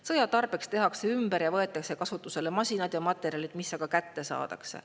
Sõja tarbeks tehakse ümber ja võetakse kasutusele masinad ja materjalid, mis aga kätte saadakse.